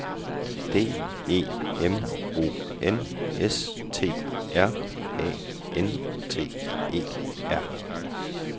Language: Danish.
D E M O N S T R A N T E R